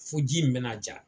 Fo ji in bɛ na ja